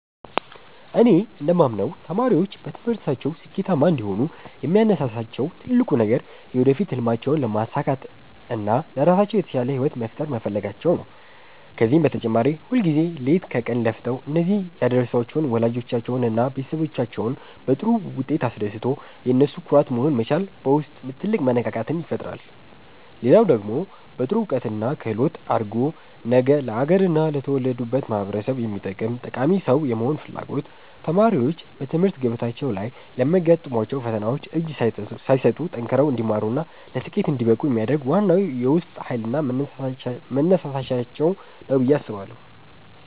እኔ እንደማምነው ተማሪዎች በትምህርታቸው ስኬታማ እንዲሆኑ የሚያነሳሳቸው ትልቁ ነገር የወደፊት ሕልማቸውን ማሳካትና ለራሳቸው የተሻለ ሕይወት መፍጠር መፈለጋቸው ነው። ከዚህም በተጨማሪ ሁልጊዜ ሌት ከቀን ለፍተው እዚህ ያደረሷቸውን ወላጆቻቸውንና ቤተሰቦቻቸውን በጥሩ ውጤት አስደስቶ የነሱ ኩራት መሆን መቻል በውስጥ ትልቅ መነቃቃትን ይፈጥራል። ሌላው ደግሞ በጥሩ እውቀትና ክህሎት አድጎ ነገ ለአገርና ለተወለዱበት ማኅበረሰብ የሚጠቅም ጠቃሚ ሰው የመሆን ፍላጎት ተማሪዎች በትምህርት ገበታቸው ላይ ለሚያጋጥሟቸው ፈተናዎች እጅ ሳይሰጡ ጠንክረው እንዲማሩና ለስኬት እንዲበቁ የሚያደርግ ዋናው የውስጥ ኃይልና መነሳሻቸው ነው ብዬ አስባለሁ።